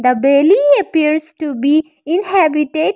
The valley appears to be inhabited.